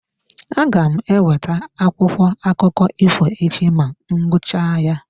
Aga m eweta akwụkwọ akụkọ ifo echi ma m gụchaa ya.